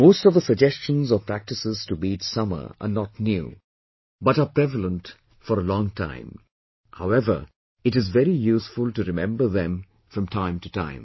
Most of the suggestions or practices to beat summer are not new but are prevalent for a long time, however it is very useful to remember them from time to time